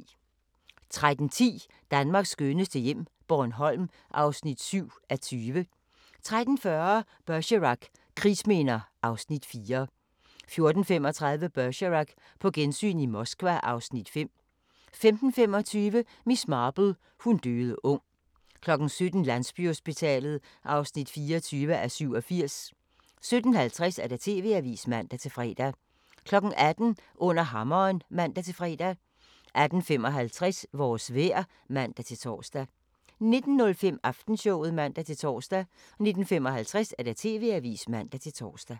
13:10: Danmarks skønneste hjem - Bornholm (7:20) 13:40: Bergerac: Krigsminder (Afs. 4) 14:35: Bergerac: På gensyn i Moskva (Afs. 5) 15:25: Miss Marple: Hun døde ung 17:00: Landsbyhospitalet (24:87) 17:50: TV-avisen (man-fre) 18:00: Under hammeren (man-fre) 18:55: Vores vejr (man-tor) 19:05: Aftenshowet (man-tor) 19:55: TV-avisen (man-tor)